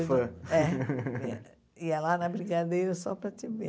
fã. É. Ia lá na Brigadeiro só para te ver.